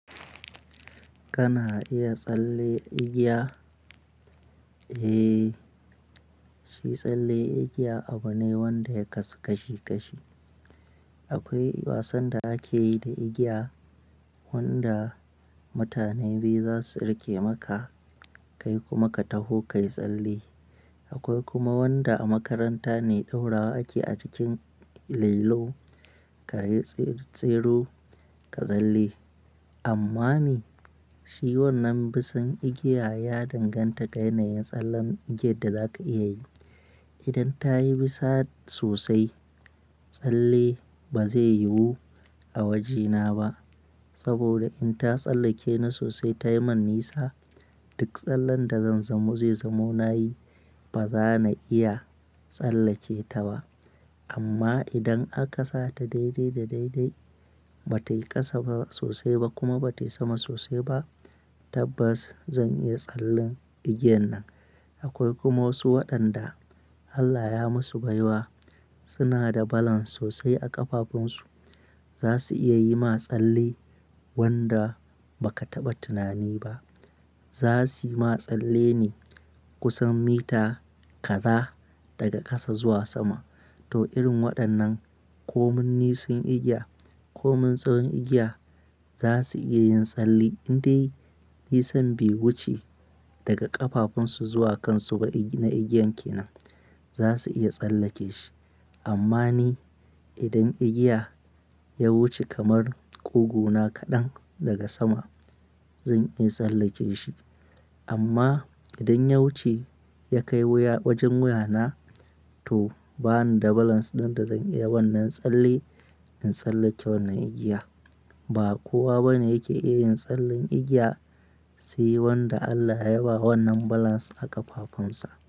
Kana iya tsalle igiya? Eh, shi tsalle igiya abu ne wanda ya kasu kashi kashi. Akwai wasan da ake yi da igiya wanda mutane biyu za su riƙe maka kai kuma ka taho kai tsalle. Akwai kuma wanda a makaranta ne ɗorawa ake a jikin layilo ka yi tseru tseru ka tsalle. Amma ni, shi wannan bisan igiya ya danganta ga yanayin tsallen igiyar da za ka iya yi. Idan ta yi bisa sosai, tsalle ba zai yiwu a wajena ba. Saboda in ta tsallake ni sosai ta yi man nisa, duk tsallen da zan zamo zai zamo na yi ba za na iya tsallake ta ba. Amma idan aka sa ta daidai da daidai, ba ta yi ƙasa ba sosai ba kuma ba ta yi sama sosai ba, tabbas zan iya tsallen igiyan nan. Akwai kuma wasu waɗanda Allah ya masu baiwa suna da balance sosai a ƙafafunsu. Za su iya yi ma tsalle wanda ba ka taɓa tunani ba. Za suyi ma tsalle ne kusan mita kaza daga ƙasa zuwa sama. To irin waɗannan, ko mun nisan igiya ko mun tsawon igiya, za su iya yin tsalle. Indai nisan be wuce daga ƙafafunsu zuwa kansu ba igi na igiyan ke nan, za su iya tsallake shi. Amma ni, idan igiya ya wuce kamar ƙugu na kaɗan daga sama, zan iya tsallake shi. Amma idan ya wuce ya kai wuya wajen wuya na, to bani da balance ɗin da zan iya wannan tsalle in tsallake wannan igiya. Ba kowa bane yake iya yin tsallen igiya, se wanda Allah ya ba wannan balance a ƙafafunsa.